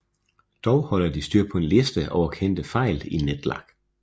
Dog holder de styr på en liste over kendte fejl i NetHack